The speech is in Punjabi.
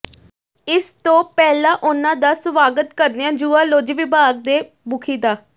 ਇਸ ਤੋ ਪਹਿਲਾ ਉਹਨਾਂ ਦਾ ਸਵਾਗਤ ਕਰਦਿਆ ਜੂਆਲੋਜ਼ੀ ਵਿਭਾਗ ਦੇ ਮੁਖੀ ਡਾ